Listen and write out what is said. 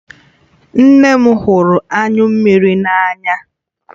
Nne m hụrụ anyụ mmiri n'anya